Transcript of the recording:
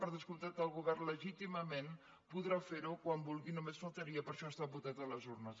per descomptat el govern legítimament podrà fer ho quan vulgui només faltaria per això ha estat votat a les urnes